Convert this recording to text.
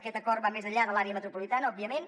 aquest acord va més enllà de l’àrea metropolitana òbviament